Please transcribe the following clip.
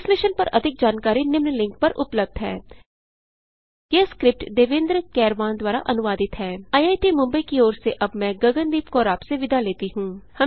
इस मिशन पर अधिक जानकारी निम्न लिंक पर उपलब्ध है httpspoken tutorialorgNMEICT Intro यह स्क्रिप्ट देवेन्द्र कैरवान द्वारा अनुवादित है आईआईटी मुंबई की ओर से अब मैंआपसे विदा लेती हूँ